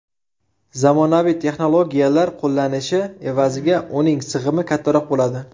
Zamonaviy texnologiyalar qo‘llanishi evaziga uning sig‘imi kattaroq bo‘ladi.